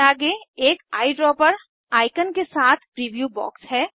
इसके आगे एक आईड्रॉपर आइकन के साथ प्रीव्यू बॉक्स है